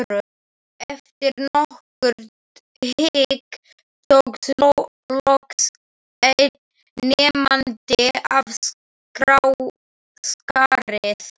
Eftir nokkurt hik tók loks einn nemandinn af skarið.